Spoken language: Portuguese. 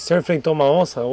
O senhor enfrentou uma onça?